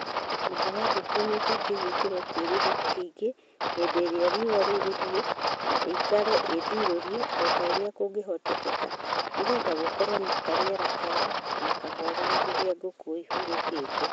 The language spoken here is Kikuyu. Nyũmba ya ngũkũ nĩibatiĩ gwĩkĩrwo kĩruru kĩingĩ hĩndĩ ĩrĩa riũa rĩrĩhiũ na ĩikare ĩndirũrie o ta ũrĩa kũngĩhoteka nĩgetha gũkorwo na karĩera kega na kahoreru rĩrĩa ngũkũ ihurũkĩte.